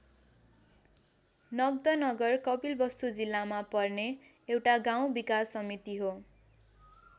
नन्द नगर कपिलवस्तु जिल्लामा पर्ने एउटा गाउँ विकास समिति हो।